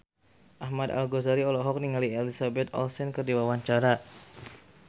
Ahmad Al-Ghazali olohok ningali Elizabeth Olsen keur diwawancara